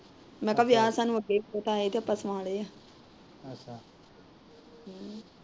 ਮੈ ਕਿਹਾ ਵਿਆਹ ਤਾ ਆਪਾ ਆਏ ਤੇ ਸੁਆਣੇ ਆ।